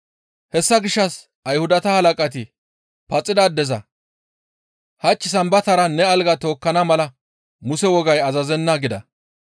Hessa gishshas Ayhudata halaqati paxida addeza, «Hach Sambatara ne algaa tookkana mala Muse wogay azazenna» gida.